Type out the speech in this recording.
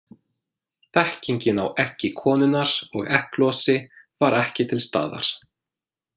Þekkingin á eggi konunnar og egglosi var ekki til staðar.